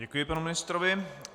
Děkuji panu ministrovi.